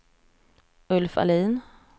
Ulf Ahlin